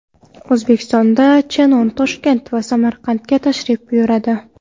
O‘zbekistonda Shennon Toshkent va Samarqandga tashrif buyuradi.